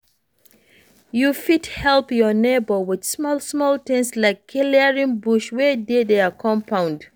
You fit help your neighbour with small small things like clearing bush wey dey their compund